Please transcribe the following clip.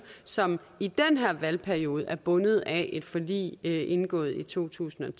som i den her valgperiode er bundet af et forlig indgået i to tusind